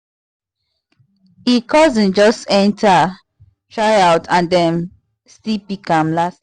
e cousin just enter tryout and dem still pick am las las